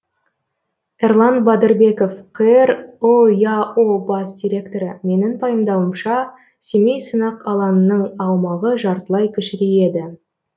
эрлан батырбеков қр ұяо бас директоры менің пайымдауымша семей сынақ алаңының аумағы жартылай кішірейеді